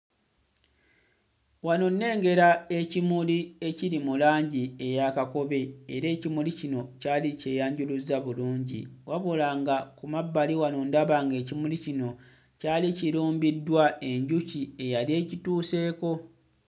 Wano nnengera ekimuli ekiri mu langi eya kakobe era ekimuli kino kyali kyeyanjuluzza bulungi wabula nga ku mabbali wano ndaba ng'ekimuli kino kyali kirumbiddwa enkuki eyali ekituuseeko.